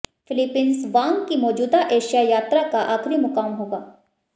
Philippines Wang की मौजूदा Asia यात्रा का आखिरी मुकाम होगा